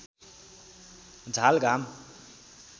झाल घाम